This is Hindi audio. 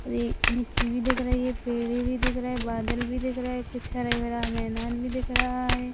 यह मिट्टी भी दिख रहे है पेड़े भी दिख रहे हैं बादल भी दिख रहा है पीछे हरा-भरा मैदान भी दिख रहा है।